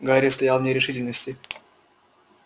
гарри стоял в нерешительности